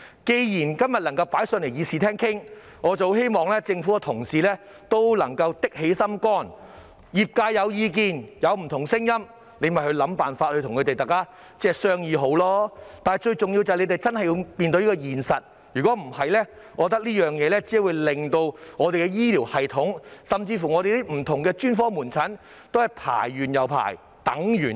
既然今天能夠在議事廳討論此事，我希望政府的同事也能夠下定決心，如果業界有意見或不同聲音，便想辦法與他們商議，但最重要的是，政府真的要面對現實，否則這個問題只會令我們的醫療系統，甚至是不同專科門診的輪候時間越來越長。